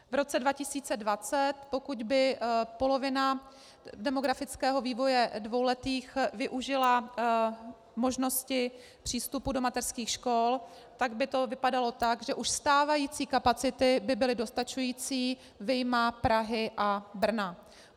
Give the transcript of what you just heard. V roce 2020, pokud by polovina demografického vývoje dvouletých využila možnosti přístupu do mateřských škol, pak by to vypadalo tak, že už stávající kapacity by byly dostačující vyjma Prahy a Brna.